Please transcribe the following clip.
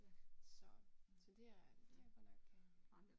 Så så det det jeg godt nok øh